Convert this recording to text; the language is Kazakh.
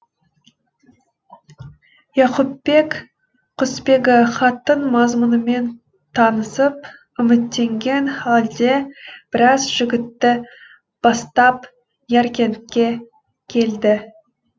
яқупбек құсбегі хаттың мазмұнымен танысып үміттенген халде біраз жігітті бастап яркентке келді